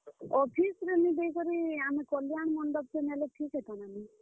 Office ରେ ନି ଦେଇ କରି ଆମେ କଲ୍ୟାଣ ମଣ୍ଡପ ଟେ ନେଲେ ଠିକ୍ ହେତା କେଁ ବୋଲୁଛେଁ।